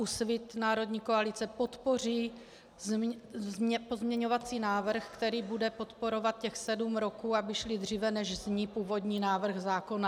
Úsvit - Národní Koalice podpoří pozměňovací návrh, který bude podporovat těch sedm roků, aby šli dříve, než zní původní návrh zákona.